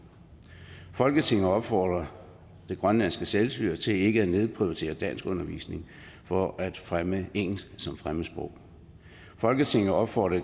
folketinget opfordrer det grønlandske selvstyre til ikke at nedprioritere danskundervisning for at fremme engelsk som fremmedsprog folketinget opfordrer